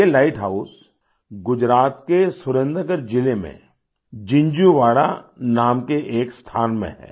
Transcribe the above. ये lighthouse Gujarat के Surendranagar जिले में जिन्झुवाड़ा नाम के एक स्थान में है